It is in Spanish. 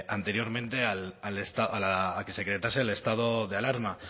anteriormente a que se decretase el estado de alarma